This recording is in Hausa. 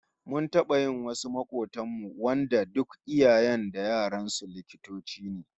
Mun taba yi wasu makobtan mu wanda duk iyayen da yaran su likitoci ne